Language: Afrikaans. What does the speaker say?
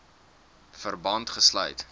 verband gesluit